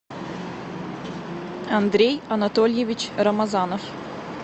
андрей анатольевич рамазанов